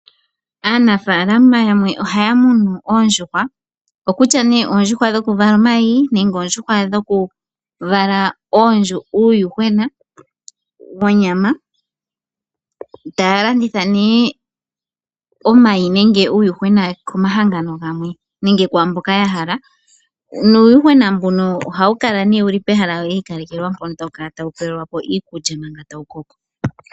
Aanafaalama yamwe ohaya munu oondjuhwa dhimwe odhokuvala omayi omanga oonkwawo odhoku vala uuyuhwena wonyama. Ohaya landitha omayi nuuyuhwena komahangano gamwe komahangano nenge kwaamboka yahala. Uuyuhwena ohawu kala wiikalekelwa pehala lyontumba wo tawu pelwapo iikulya.